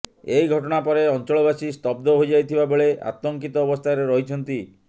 ଏହି ଘଟଣା ପରେ ଅଞ୍ଚଳବାସୀ ସ୍ତବ୍ଧ ହୋଇଯାଇଥିବା ବେଳେ ଆତଙ୍କିତ ଅବସ୍ଥାରେ ରହିଛନ୍ତି